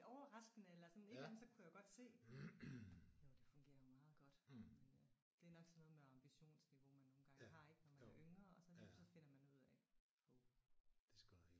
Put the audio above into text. Lidt overraskende eller sådan et eller andet så kunne jeg jo godt se jo det fungerer jo meget godt. Men øh det er nok sådan noget med ambitionsniveau man nogle gange har ik når man er yngre og så lige pludselig så finder man ud af hov